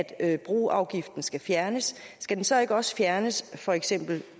at broafgiften skal fjernes skal den så ikke også fjernes